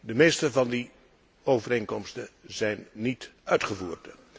De meeste van die overeenkomsten zijn niet uitgevoerd.